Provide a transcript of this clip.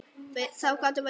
Það gátum við.